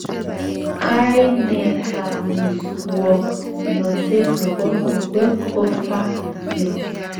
kainetab muswognotet nebo mokwek ko pharynx